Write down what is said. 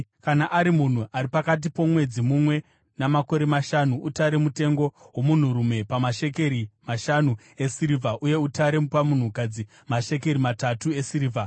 Kana ari munhu ari pakati pomwedzi mumwe namakore mashanu, utare mutengo womunhurume pamashekeri mashanu esirivha uye utare pamunhukadzi mashekeri matatu esirivha.